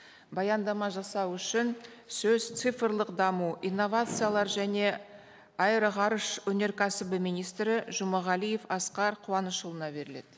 баяндама жасау үшін сөз цифрлық даму инновациялар және аэроғарыш өнеркәсібі министрі жұмағалиев асқар қуанышұлына беріледі